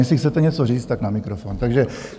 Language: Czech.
Jestli chcete něco říct, tak na mikrofon.